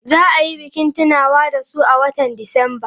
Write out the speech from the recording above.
Za a yi bikin tunawa da su a watan Disamba.